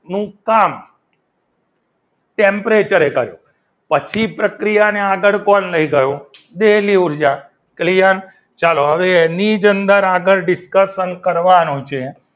નું કામ temperature કર્યું પછી પ્રક્રિયાને આગળ કોણ લઈ ગયું? દહેલી ઉર્જા clear ચાલો હવે એની જ અંદર આગળ discution કરવાનું છે.